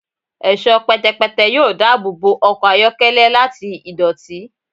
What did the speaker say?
Ẹṣọ pẹtẹpẹtẹ yoo daabobo ọkọ ayọkẹlẹ lati idoti